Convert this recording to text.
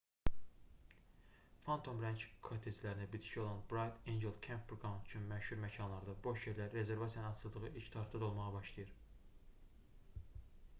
phantom ranch kotteclərinə bitişik olan bright angel campground kimi ən məşhur məkanlarda boş yerlər rezervasiyanın açıldığı ilk tarixdə dolmağa başlayır